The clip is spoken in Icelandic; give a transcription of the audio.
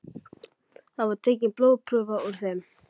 Þar var tekin blóðprufa úr þeim